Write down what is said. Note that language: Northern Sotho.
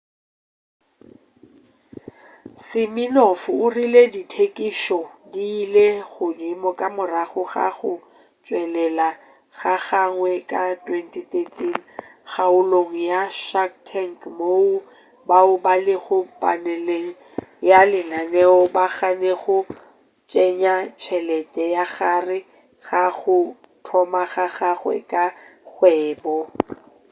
siminoff o rile ditekišo di ile godimo ka morago ga go tšwelelela ga gagwe ka 2013 kgaolong ya shark tank moo bao ba lego paneleng ya lenaneo ba gannego go tsenya tšhelete ka gare ga go thoma ga gagwe ga kgwebo